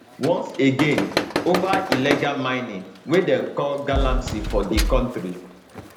once again ova illegal mining wey dem call galamsey for di kontri